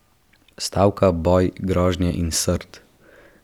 Stavka, boj, grožnje in srd!